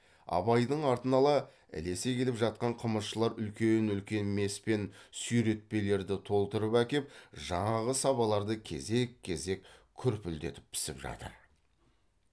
абайдың артын ала ілес келіп жатқан қымызшылар үлкен үлкен мес пен сүйретпелерді толтырып әкеп жаңағы сабаларды кезек кезек күрпілдетіп пісіп жатыр